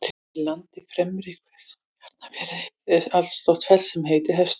Í landi Fremri-Hvestu í Arnarfirði er allstórt fell sem heitir Hestur.